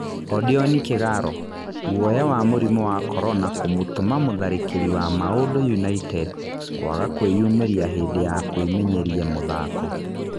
Odioni Kĩgaro: Gũoya wa mũrimũ wa Korona kũmũtũma mũtharĩkĩri wa Maũndũ United kũaga kũĩyumĩria hĩndĩ ya kũĩmenyeria mũthako.